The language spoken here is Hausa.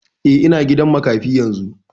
Eh, ina gidan makafi yanzu